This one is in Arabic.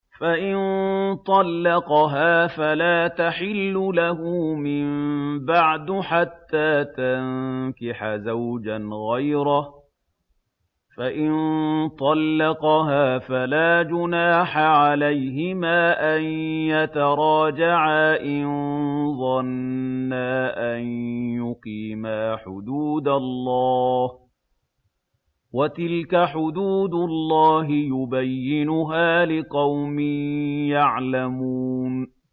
فَإِن طَلَّقَهَا فَلَا تَحِلُّ لَهُ مِن بَعْدُ حَتَّىٰ تَنكِحَ زَوْجًا غَيْرَهُ ۗ فَإِن طَلَّقَهَا فَلَا جُنَاحَ عَلَيْهِمَا أَن يَتَرَاجَعَا إِن ظَنَّا أَن يُقِيمَا حُدُودَ اللَّهِ ۗ وَتِلْكَ حُدُودُ اللَّهِ يُبَيِّنُهَا لِقَوْمٍ يَعْلَمُونَ